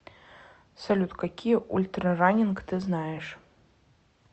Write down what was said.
салют какие ультрараннинг ты знаешь